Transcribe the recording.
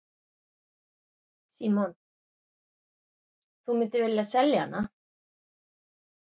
Símon: Þú myndir vilja selja hana?